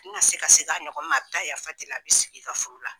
Dun ka se ka segin a ɲɔgɔn ma. A bi ta yafa deli a bi sigi i ka furu la.